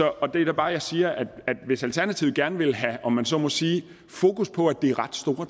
er det da bare jeg siger at hvis alternativet gerne vil have om man så må sige fokus på at det er ret store